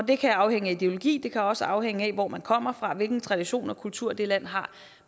det kan afhænge af ideologi det kan også afhænge af hvor man kommer fra hvilken tradition og kultur det land har